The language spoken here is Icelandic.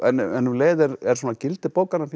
en um leið er er svona gildi bókarinnar finnst